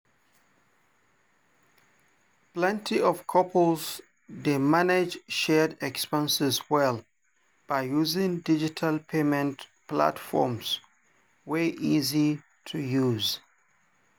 plenty couples dey manage shared expenses well by using digital payment platforms wey easy to use.